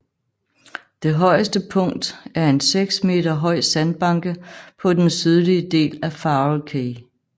Det højeste punkt er en seks meter høj sandbanke på den sydlige del af Farol Cay